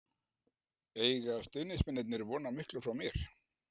Eiga stuðningsmennirnir von á miklu frá mér?